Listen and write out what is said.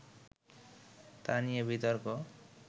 তা নিয়ে বিতর্ক